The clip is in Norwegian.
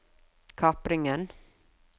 kapringen